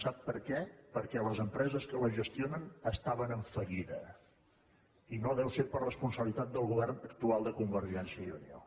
sap per què perquè les empreses que la gestionen estaven en fallida i no deu ser per responsabilitat del govern actual de convergència i unió